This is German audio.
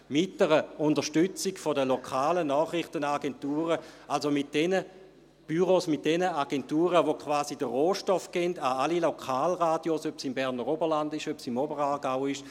Mit einer Unterstützung der lokalen Nachrichtenagenturen, also jener Büros und Agenturen, die quasi den Rohstoff an alle Lokalradios liefern, sei es im Berner Oberland, sei es im Oberaargau ...